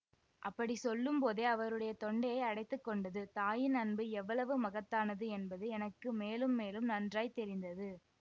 அப்படி சொல்லும் போதே அவருடைய தொண்டையை அடைத்து கொண்டது தாயின் அன்பு எவ்வளவு மகத்தானது என்பது எனக்கு மேலும் மேலும் நன்றாய் தெரிந்தது